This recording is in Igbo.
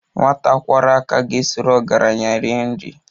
Nwata kwọrọ aka ga-esoro ọgaranya rie nri